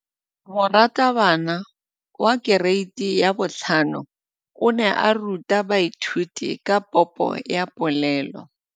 Moratabana wa kereiti ya 5 o ne a ruta baithuti ka popô ya polelô.